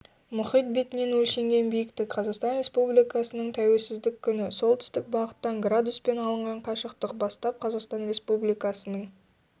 мұхит бетінен өлшенген биіктік қазақстан республикасының тәуелсіздік күні солтүстік бағыттан градуспен алынған қашықтық бастап қазақстан республикасының